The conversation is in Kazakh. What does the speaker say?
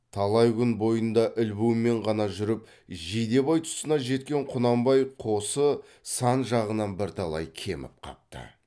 талай күн бойында ілбумен ғана жүріп жидебай тұсына жеткен құнанбай қосы сан жағынан бірталай кеміп қапты